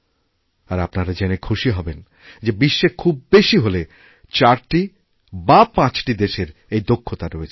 আর আপনারা জেনে খুশি হবেন যে বিশ্বে খুব বেশি হলে চারটি বাপাঁচটি দেশের এই দক্ষতা রয়েছে